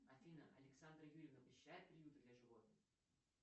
афина александра юрьевна посещает приюты для животных